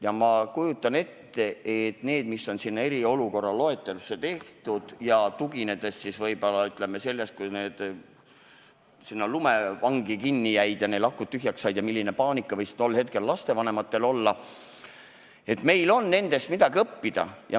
Ja ma kujutan ette, vaadates neid näiteid, mis sinna eriolukorra loetelusse on lisatud, ja tuginedes võib-olla ka sellele juhtumile, kui inimesed Padaorus lumevangi jäid ja neil akud tühjaks said – milline paanika võis tol hetkel lastevanematel olla –, et meil on nendest midagi õppida.